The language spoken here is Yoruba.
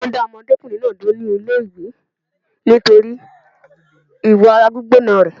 Wọn dá ọmọdékùnrin náà dúró ní ilé ìwé nítorí ìwà ara gbígbóná rẹ̀